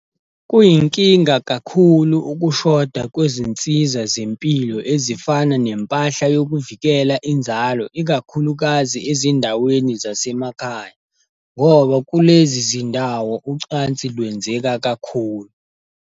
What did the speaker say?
Kuyinkinga kakhulu ukushoda kwezinsiza zempilo ezifana nempahla yokuvikela inzalo ikakhulukazi ezindaweni zasemakhaya, ngoba kulezi zindawo ucansi lwenzeka kakhulu.